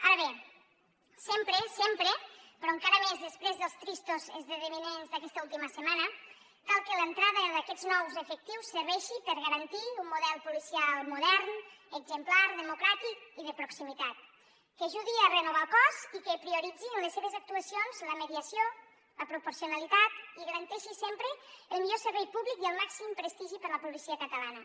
ara bé sempre sempre però encara més després dels tristos esdeveniments d’aquesta última setmana cal que l’entrada d’aquests nous efectius serveixi per garantir un model policial modern exemplar democràtic i de proximitat que ajudi a renovar el cos i que prioritzi en les seves actuacions la mediació la proporcionalitat i garanteixi sempre el millor servei públic i el màxim prestigi per a la policia catalana